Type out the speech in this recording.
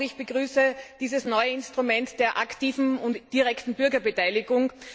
Auch ich begrüße dieses neue Instrument der aktiven und direkten Bürgerbeteiligung.